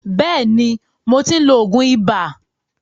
Bẹ́ẹ̀ni, mo ti ń lo òògùn ibà.